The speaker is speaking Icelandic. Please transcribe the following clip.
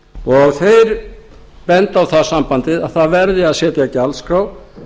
og þeir benda á það sambandið að það verði að setja gjaldskrá